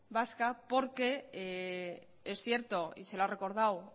vasca porque es cierto y se lo ha recordado